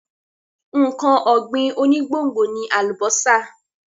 Nǹkan ọ̀gbìn onígbòǹgbò ni àlùbọ́sà.